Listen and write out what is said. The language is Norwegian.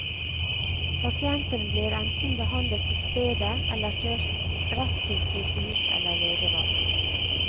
Pasientene blir enten behandlet på stedet eller, kjørt rett til sykehus eller legevakt.